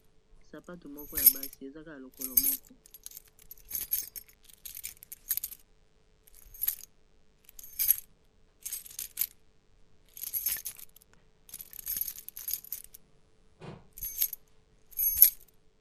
Sapatu moko ya basi, ezali kaka lokolo moko.